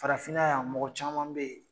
Farafinna yan mɔgɔ caman be yen